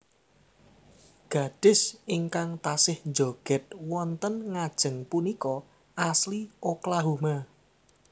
Gadis ingkang tasih njoged wonten ngajeng punika asli Oklahoma